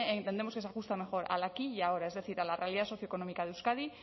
entendemos que se ajusta mejor al aquí y ahora es decir a la realidad socioeconómica de euskadi